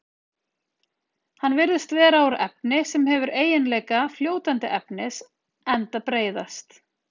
Hann virðist vera úr efni sem hefur eiginleika fljótandi efnis enda breiðast